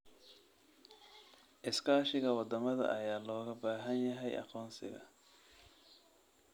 Iskaashiga wadamada ayaa looga baahan yahay aqoonsiga.